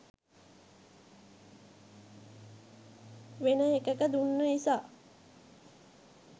වෙන එකක දුන්න නිසා